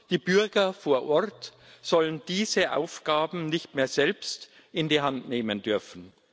Die Bürger vor Ort sollen diese Aufgaben nicht mehr selbst in die Hand nehmen dürfen.